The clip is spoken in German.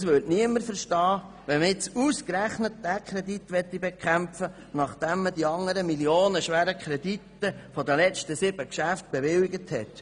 Es würde niemand verstehen, wenn man jetzt ausgerechnet diesen Kredit bekämpfen würde, nachdem man die anderen millionenschweren Kredite der letzten sieben Geschäfte bewilligt hat.